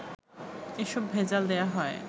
এসব ভেজাল দেয়া হয়